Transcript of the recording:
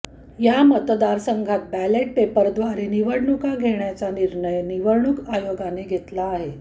या मतदारसंघात बॅलेट पेपरद्वारे निवडणुका घेण्याचा निर्णय निवडणूक आयोगानं घेतला आहे